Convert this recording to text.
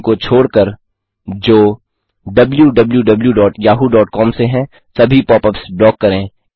उनको छोड़कर जो wwwyahoocom से हैं सभी पॉपअप्स ब्लॉक करें